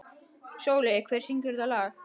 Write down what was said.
Sóli, hver syngur þetta lag?